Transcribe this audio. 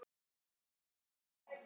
Engu þeirra var skemmt.